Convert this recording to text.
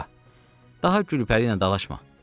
Baba, daha Gülpəri ilə dalaşma.